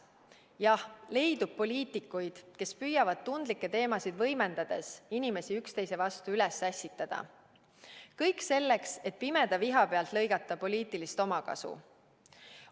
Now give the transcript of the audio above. Jah, leidub poliitikuid, kes püüavad tundlikke teemasid võimendades inimesi üksteise vastu üles ässitada, kõik selleks, et pimeda viha pealt lõigata poliitilist omakasu.